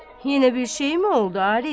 Yenə bir şeyi mi oldu Arif?